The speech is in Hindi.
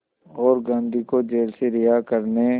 और गांधी को जेल से रिहा करने